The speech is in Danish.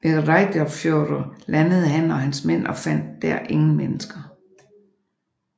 Ved Reyðarfjörður landede han og hans mænd og fandt der ingen mennesker